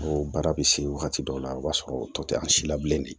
O baara bɛ se wagati dɔw la o b'a sɔrɔ tɔ tɛ an si la bilen de